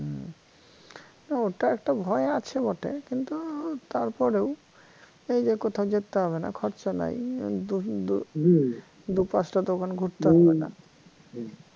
না ওতো একটু ভয় আছে বটে কিন্তু তারপরেও এইযে কোথাও যেতে হবে না খরচা নাই দু দু পাঁচটা দোকান ঘুরতে হবে না